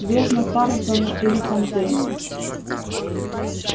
верно тарлтоны или фонтейны